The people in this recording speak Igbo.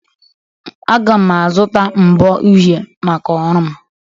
Aga m azụta mbo uhie maka ọrụ m